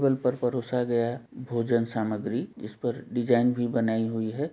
बल पर परोसा गया भोजन सामग्री जिसपर डिजाइन भी बनाई हुई है।